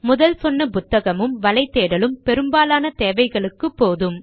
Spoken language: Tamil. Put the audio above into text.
முதல் சொன்ன புத்தகமும் வலைத்தேடலும் பெரும்பாலான தேவைகளுக்கு போதும்